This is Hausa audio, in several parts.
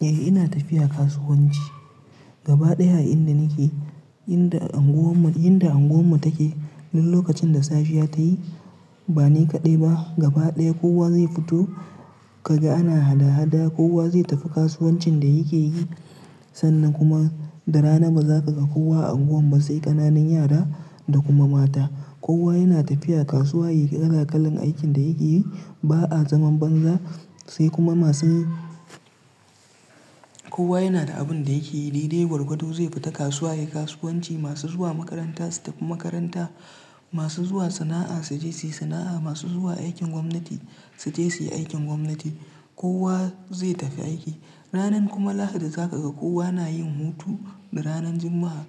Eh ina tafiya kasuwanci. Gaba ɗaya inda nake, inda unguwar mu take, duk lokacin da safiya tayi ba ni kaɗai ba gaba ɗaya kowa zai fito kaga ana hada-hada, kowa zai tafi kasuwancin da yake yi sannan kuma da rana bazaka ga kowa a unguwar ba sai ƙananan yara da kuma mata. Kowa yana tafiya kasuwa ya yi kala-kalan aikin da yake yi. Ba'a zaman banza sai kuma masu kowa yana da abin da yake yi. Dai-dai gwargwado zai fita kasuwa ya yi kasuwanci. Masu zuwa makaranta su tafi makaranta, masu zuwa sana'a su je su yi sana'a, masu zuwa aikin gwamnati su je su yi aikin gwamnati. Kowa zai tafi aiki. Ranar kuma Lahadi za ka ga kowa na yin hutu da ranar Juma'a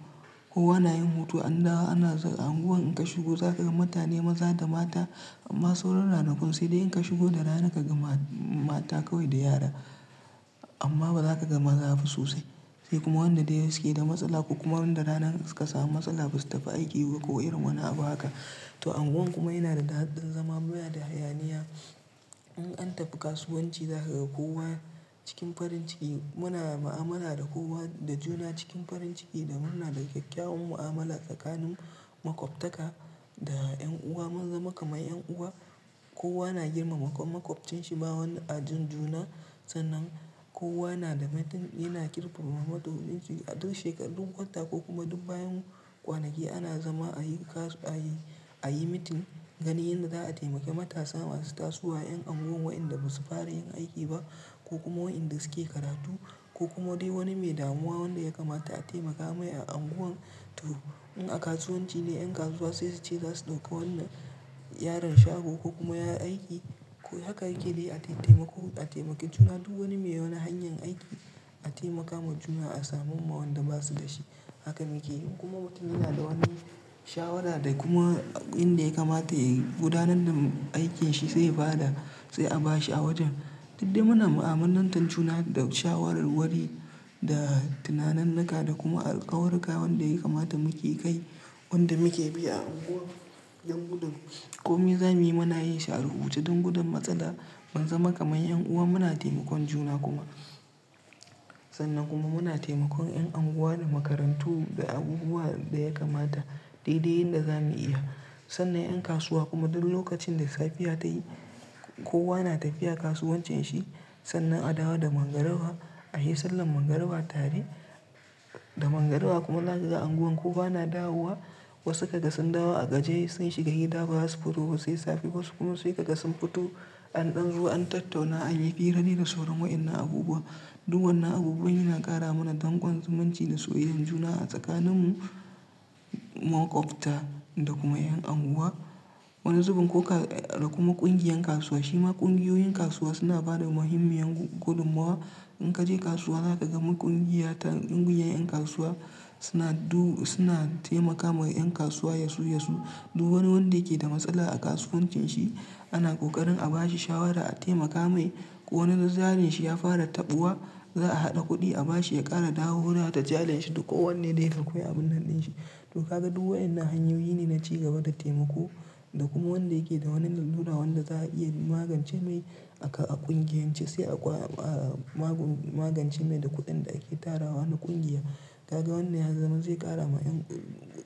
kowa na yin hutu. An dawo ana zaga unguwar in ka shigo zaka ga mutane maza da mata masu raun rana kuma sai dai in ka shigo da rana kaga ma-mata kawai da yara amma bazaka ga maza ba sosai. Sai kuma wanda dai yake da matsala ko kuma wanda rana suka samu matsala basu tafi aiki ba ko irin wani abu haka. To unguwar kuma yana da daddin zama baya da hayaniya. In an tafi kasuwanci za ka ga kowa cikin farin ciki. Muna mu'amala da kowa da juna cikin farin ciki da muna da ƙyaƙƙyawan mu'amala tsakanin maƙwabtaka da 'yan uwa. Mun zama kamar 'yan uwa, kowa na girmama maƙwabcin shi ba wani ajin juna sannan kowa yana kirki-yana ƙirkiromawa matsu wurin ciki a duk shekaru, duk wata ko kuma duk bayan kwanaki ana zama a yi kasu-a yi, a yi meeting gani inda za'a taimake matasa masu tasu wa ƴan unguwar waɗanda basu fara yin aiki ba ko kuma waɗanda suke karatu ko kuma dai wani mai damuwa wanda ya kamata a taimaka mai a unguwar. To in a kasuwanci ne, 'yan kasuwa sai su ci zasu da ko wannan yaron shago ko kuma yaron aiki. Haka hakili a taimako a taimake juna duk wani mai wani hanyar aiki a taimaka ma juna a samewa wanda ba su da shi. Hakan yake yi kuma mutum yana da wani shawara da kuma akwai inda ya kamata ya gudanar da aikin shi sai fada sai a ba shi a wajen. Duk dai muna mu'amarlantatun juna da shawarar wari da tunananan naka da kuma alkawurka wanda ya kamata muke kai wanda muke bi a unguwar. Don gudun komi zamuyi muna yin shi arubutu don gudun matsala. Mun zama kamar 'yan uwa muna taimakon juna kuma sannan kuma muna taimakon ƴan unguwa da makarantu da abubuwa da ya kamata dai dai yanda zamu iya. Sannan 'yan kasuwa kuma duk lokacin da safiya ta yi kowa na tafiya kasuwancin shi sannan a dawa da magarwa a yi sallar magarwa tare da magarwa kuma za ka ga unguwar kowa na dawowa. Wasu kaga sun dawo a gaje sun shiga gida bazasu fito ba sai safe wasu kuma sai kaga sun fito an ɗan zo an tattauna an yi hira ne da sauran waɗannan abubuwa. Duk wannan abubuwa yana ƙara mana dangon zumunci da soyayyar juna a tsakanin mu maƙwabta da kuma 'yan unguwa. Wani zubin ko ka-da kuma ƙungiyar kasuwa shima ƙungiyoyin kasuwa suna ba da muhimmiyar gudumawa. In ka je kasuwa za ka ga ƙungiya ta ƙungiyoyin 'yan kasuwa suna du-suna taimaka ma 'yan kasuwa yasu-yasu. Duk wani wanda yake da matsala a kasuwancin shi ana ƙoƙarin a ba shi shawara a taimaka mai ko wani zazzalin shi ya fara taɓuwa za'a haɗa kuɗi a ba shi ya ƙara dawowa da jarin shi duk ko wanne dai hakwai abun haɗin shi. To ka ga duk waɗannan hanyoyi ne na ci gaba da taimako da kuma wanda yake da wani lallura wanda za a iya magance mai aka a ƙungiyance sai a ƙwa a magun-magance mai da kuɗin da ake tarawa na ƙungiya. Ka ga wannan ya zama zai ƙara ma 'yan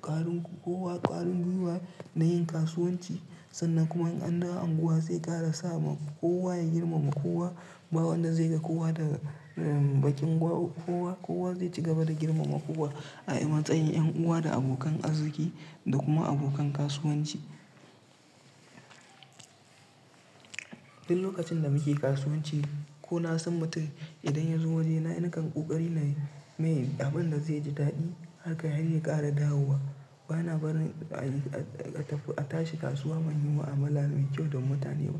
ƙarin kowa ƙarin gwiwa na yin kasuwanci sannan kuma an dawo unguwar zai ƙara sa kowa ya girmama kowa. Ba wanda zai ga kowa daga bakin gwa-kowa. Kowa zai ci gaba da girmama kowa a matsayin 'yan uwa da abokan arziki da kuma abokan kasuwanci. Duk lokacin da muke kasuwanci ko na san mutum idan ya zo waje na nakan ƙoƙari na yi mai abin da zai ji daɗi haka har ya ƙara dawowa. Ba na barin a yi a tafi a tashi kasuwa man yi wa amalarsu kyau don mutane ba.